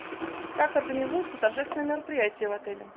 как организуются торжественные мероприятия в отеле